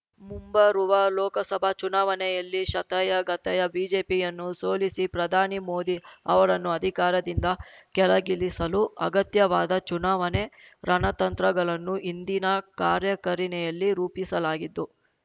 ಮುಂಬರುವ ಲೋಕಸಭಾ ಚುನಾವಣೆಯಲ್ಲಿ ಶತಾಯಗತಾಯ ಬಿಜೆಪಿಯನ್ನು ಸೋಲಿಸಿ ಪ್ರಧಾನಿ ಮೋದಿ ಅವರನ್ನು ಅಧಿಕಾರದಿಂದ ಕೆಳಗಿಳಿಸಲು ಅಗತ್ಯವಾದ ಚುನಾವಣೆ ರಣತಂತ್ರಗಳನ್ನು ಇಂದಿನ ಕಾರ್ಯಕರಿಣಿಯಲ್ಲಿ ರೂಪಿಸಲಾಗಿತ್ತು